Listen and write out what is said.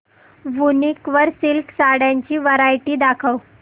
वूनिक वर सिल्क साड्यांची वरायटी दाखव